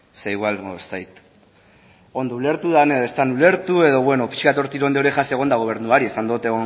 ze igual ez dakit ondo ulertu dudan edo ez dudan ulertu edo pixka hor tirón de orejas egon da gobernuari esan du